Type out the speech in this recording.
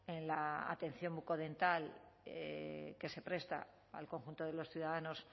en la atención bucodental que se presta al conjunto de los ciudadanos